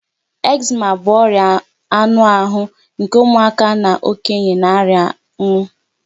Eczema bụ ọria anụ ahụ nke ụmụaka na okenye na-arianwu.